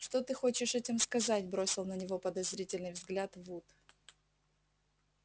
что ты хочешь этим сказать бросил на него подозрительный взгляд вуд